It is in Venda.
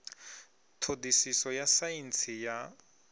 ṱho ḓisiso ya saintsi ya